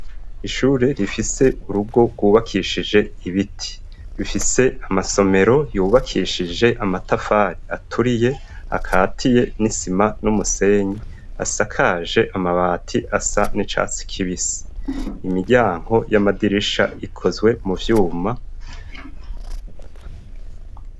Ishure rifise urugo rwubakishije ibiti. Rifise amasomero yubakishije amatafari aturiye, akatiye n'isima n'umusenyi. Asakaje amabati asa n'icatsi kibisi. Imiryanko y'amadirisha ikozwe mu vyuma.